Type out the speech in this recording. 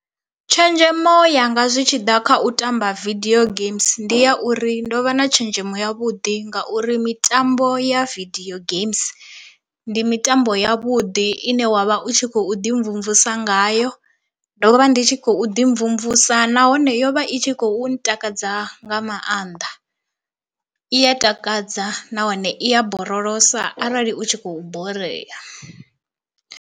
Tshenzhemo yanga zwi tshi ḓa kha u tamba video games ndi ya uri ndo vha na tshenzhemo ya vhuḓi ngauri mitambo ya video games ndi mitambo ya vhuḓi ine wavha u tshi khou ḓi mvumvusa ngayo, ndo vha ndi tshi khou ḓi mvumvusa nahone yovha i tshi khou ntakadza nga maanḓa, i ya takadza nahone i ya borolosa arali u tshi khou borea.